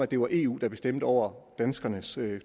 det var eu der bestemte over danskernes